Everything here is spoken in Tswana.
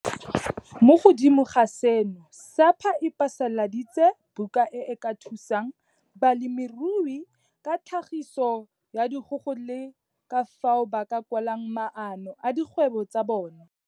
Mo godimo ga seno, SAPA e phasaladitse buka e e ka thusang balemirui ka tlhagiso ya dikgogo le ka fao ba ka kwalang maano a dikgwebo tsa bona.